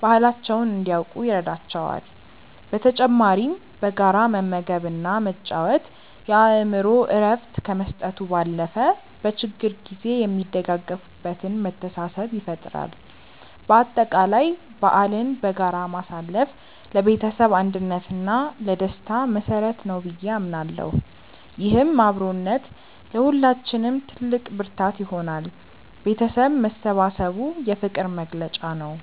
ባህላቸውን እንዲያውቁ ይረዳቸዋል። በተጨማሪም በጋራ መመገብ እና መጫወት የአእምሮ እረፍት ከመስጠቱ ባለፈ፣ በችግር ጊዜ የሚደጋገፉበትን መተሳሰብ ይፈጥራል። በአጠቃላይ በዓልን በጋራ ማሳለፍ ለቤተሰብ አንድነት እና ለደስታ መሰረት ነው ብዬ አምናለሁ። ይህም አብሮነት ለሁላችንም ትልቅ ብርታት ይሆናል። ቤተሰብ መሰባሰቡ የፍቅር መግለጫ ነው።